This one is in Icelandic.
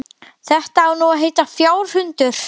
Þetta á nú að heita fjárhundur.